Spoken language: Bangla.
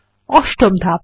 অষ্টম ধাপ